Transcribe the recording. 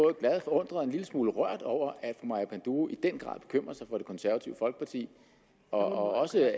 er glad forundret og en lille smule rørt over at maja panduro i den grad bekymrer sig for det konservative folkeparti og også